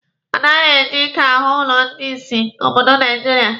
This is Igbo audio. Anaghị eji ike ahụ ụlọ ndị ìsì n'obodo Naijiria.